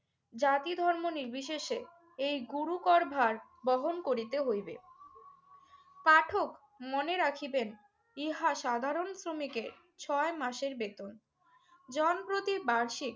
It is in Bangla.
জাতিধর্ম নির্বিশেষে এই গুরু করভার বহন করিতে হইবে। পাঠক মনে রাখিবেন ইহা সাধারণ শ্রমিকের ছয় মাসের বেতন। জনপ্রতি বার্ষিক